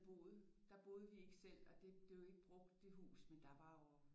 Boet der boede vi ikke selv og det blev ikke brugt det hus men der var jo